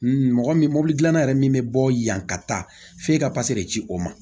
Mɔgɔ min mobili dilanna yɛrɛ min bɛ bɔ yan ka taa f'e ka de ci o ma